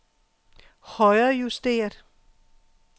højrejusteret